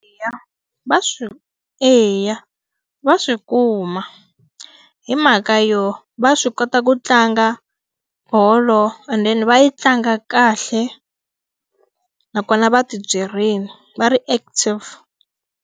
va swi. Eya va swi kuma hi mhaka yo va swi kota ku tlanga bolo and then va yi tlanga kahle nakona va ti byerile va ri active.